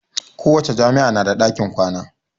Kowace jami'a na da ɗakin kwana